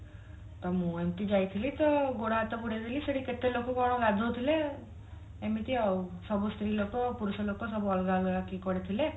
ତ ମୁଁ ଏମତି ଯାଇଥିଲି ତ ଗୋଡ ହାତ ବୁଡେଇ ଦେଲି ସେଠି କେତେ ଲୋକ କଣ ଗାଧୋଉଥିଲେ ଏମିତି ଆଉ ସବୁ ସ୍ତ୍ରୀ ଲୋକ ପୁରୁଷ ଲୋକ ସବୁ ଅଲଗ ଅଲଗା କିଏ କୁଆଡେ ଥିଲେ